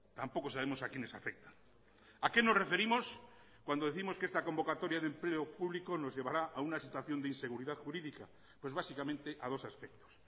tampoco sabemos a quiénes afecta a qué nos referimos cuando décimos que esta convocatoria de empleo público nos llevará a una situación de inseguridad jurídica pues básicamente a dos aspectos